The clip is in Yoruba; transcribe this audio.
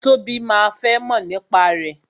Tobi máa fẹ́ mọ̀ nípa rẹ